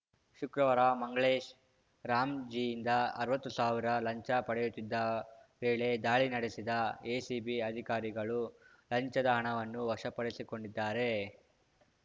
ಶುಕ್ರವಾರ ಮಂಗಳೇಶ್‌ ರಾಮ್‌ಜೀಯಿಂದ ಅರ್ವತ್ತು ಸಾವಿರ ಲಂಚ ಪಡೆಯುತ್ತಿದ್ದ ವೇಳೆ ದಾಳಿ ನಡೆಸಿದ ಎಸಿಬಿ ಅಧಿಕಾರಿಗಳು ಲಂಚದ ಹಣವನ್ನು ವಶಪಡಿಸಿಕೊಂಡಿದ್ದಾರೆ